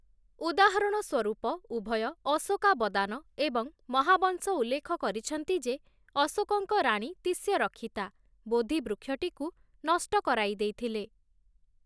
ଉଦାହରଣ ସ୍ୱରୂପ, ଉଭୟ 'ଅଶୋକାବଦାନ' ଏବଂ 'ମହାବଂଶ' ଉଲ୍ଲେଖ କରିଛନ୍ତି ଯେ ଅଶୋକଙ୍କ ରାଣୀ ତିଷ୍ୟରକ୍ଷିତା ବୋଧି ବୃକ୍ଷଟିକୁ ନଷ୍ଟ କରାଇଦେଇଥିଲେ ।